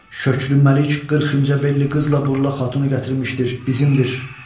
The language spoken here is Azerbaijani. Şöklü Məlik 40 incəbelli qızla, burlax xatunu gətirmişdir, bizimdir.